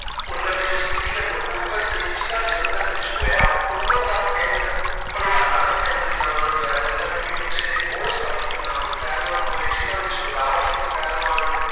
ਉਹਨਾਂ ਦੀ ਜੋ ਸਥਿਤੀ ਏ ਨਕੋਦਰ ਤੇ ਜ਼ਿਲ੍ਹਾ ਜਲੰਧਰ ਵਿੱਚ ਹੋਇਆ। ਉਹਨਾਂ ਦਾ ਪਿੰਡ ਪਹਿਲਵਾਨਾਂ ਦਾ ਪਿੰਡ ਦੇ ਨਾਮ ਨਾਲ ਜਾਣਿਆ ਜਾਂਦਾ ਕਿਉਂਕਿ ਉਥੇ ਦੇ ਬਹੁਤ ਸਾਰੇ ਨਾਮੀ ਪਹਿਲਵਾਨ ਹੋਏ, ਜਿਹਨਾਂ ਵਿੱਚ ਗੋਦਾਵਰ ਸਿੰਘ ਪਹਿਲਵਾਨ